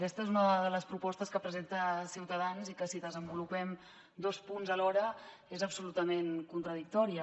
aquesta és una de les propostes que presenta ciutadans i que si desenvolupem dos punts alhora és absolutament contradictòria